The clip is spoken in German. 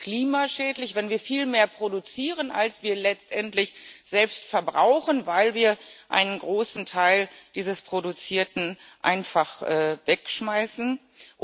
Denn es ist klimaschädlich, wenn wir viel mehr produzieren, als wir letztendlich selbst verbrauchen, weil wir einen großen Teil dieses Produzierten einfach wegwerfen.